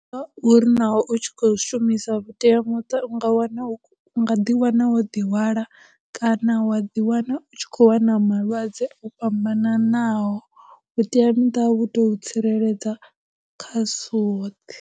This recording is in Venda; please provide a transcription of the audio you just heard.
Uri naho u tshi khou shumisa vhuteamuṱa u nga wana, u nga ḓi wana wo ḓihwala, kana wa ḓi wana u tshi khou lwala malwadze o fhambananaho, vhuteamuṱa vhu to tsireledza kha zwo .